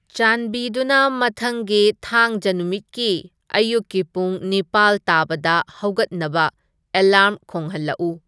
ꯆꯥꯟꯕꯤꯗꯨꯅ ꯃꯊꯪꯒꯤ ꯊꯥꯡꯖ ꯅꯨꯃꯤꯠꯀꯤ ꯑꯌꯨꯛꯀꯤ ꯄꯨꯡ ꯅꯤꯄꯥꯜ ꯇꯥꯕꯗ ꯍꯧꯒꯠꯅꯕ ꯑꯦꯂꯥꯔ꯭ꯝ ꯈꯣꯡꯍꯟꯂꯛꯎ